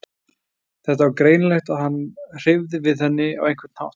Það var greinilegt að hann hreyfði við henni á einhvern hátt.